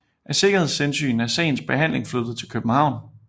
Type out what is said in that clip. Af sikkerhedshensyn er sagens behandling flyttet til København